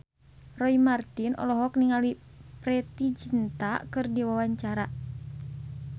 Roy Marten olohok ningali Preity Zinta keur diwawancara